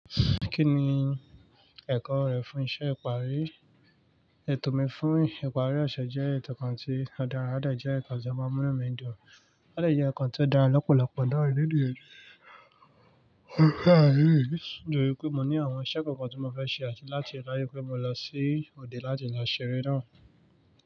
Kí ni ẹ̀kọ́ rẹ fún iṣẹ́ ìparí? Ètò mi fún ìparí ọ̀ṣẹ̀ jẹ́ ètò kan tí o dára, o de jẹ́ nnkan tí ó máa mú nu mi dùn, o de jẹ́ nnkan tí ó dára lọ́pọ̀lọpọ̀ náà lede. Nítorí pé mo ní àwọn iṣẹ́ kankan tí mo fẹ́ ṣe àti láti láyé pé mo lọ sí òde láti lọ ṣeré náà.